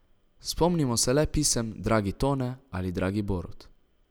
Spomnimo se le pisem Dragi Tone ali Dragi Borut.